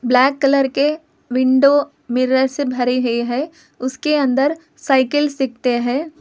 Black colour के window mirror से भरे हुए हैं उसके अंदर साइकिल सीखते है।